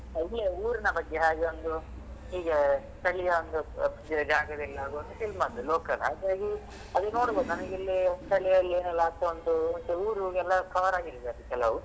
ಇಲ್ಲೇ ಊರಿನ ಬಗ್ಗೆ ಹಾಗೆ ಒಂದು ಹೀಗೆ ಸ್ಥಳೀಯ ಒಂದು ಜಾಗದೆಲ್ಲಾ ಒಂದ್ film ಅಂತೆ local ಹಾಗಾಗಿ ಅದು ನೋಡ್ಬಹುದ್ ನನ್ಗೆ ಇಲ್ಲಿ ಸ್ಥಳಿಯಲ್ಲಿ ಎಲ್ಲ ಆಗ್ತಾ ಉಂಟು ಮತ್ತೆ ಊರುಗೆಲ್ಲಾ cover ಆಗಿರುದು ಕೆಲವು.